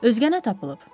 Özgənə tapılıb.